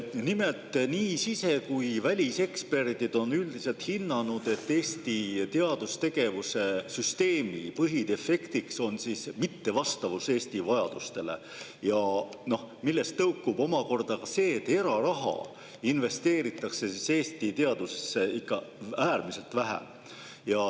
Nimelt, nii sise‑ kui väliseksperdid on üldiselt hinnanud, et Eesti teadustegevuse süsteemi põhidefekt on mittevastavus Eesti vajadustele, millest tõukub omakorda see, et eraraha investeeritakse Eesti teadusse ikka äärmiselt vähe.